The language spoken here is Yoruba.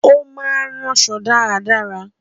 Ó máa ń ránṣọ dáradára